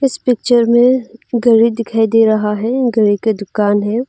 Picture में गड़ी दिखाई दे रहा है गड़ी की दुकान है।